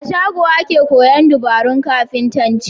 A shago ake koyan dabarun kafintanci